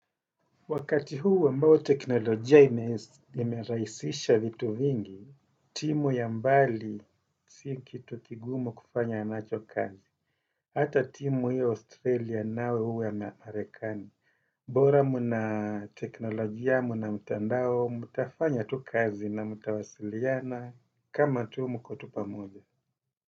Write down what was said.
Wakati huu ambao teknolojia imerahisisha vitu vingi, timu ya mbali si kitu kigumu kufanyanacho kazi. Hata timu iwe ya Australia au iwe ya marekani. Bora mna teknolojia, mna mtandao, mtafanya tu kazi na mtawasiliana kama tu mkotupa moja.